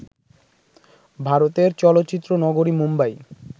ভারতের চলচ্চিত্র নগরী মুম্বাই